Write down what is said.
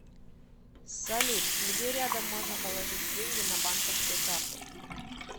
салют где рядом можно положить деньги на банковскую карту